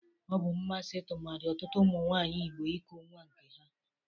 Ọ bụ mmasi tụmadị ọtụtụ ụmụ nwaanyị Igbo iku nwa nke ha.